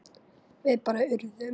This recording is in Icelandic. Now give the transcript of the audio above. Við bara urðum.